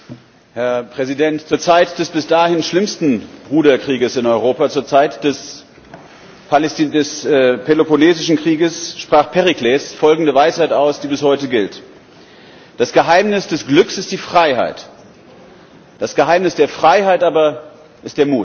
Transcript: Herr Präsident, zur Zeit des bis dahin schlimmsten Bruderkrieges in Europa, zur Zeit des Peloponnesischen Krieges, sprach Perikles folgende Weisheit aus, die bis heute gilt Das Geheimnis des Glücks ist die Freiheit, das Geheimnis der Freiheit aber ist der Mut.